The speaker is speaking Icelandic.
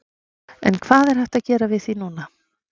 En hvað er hægt að gera við því núna?